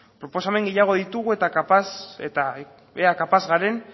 proposamen gehiago ditugu eta ea kapaz garen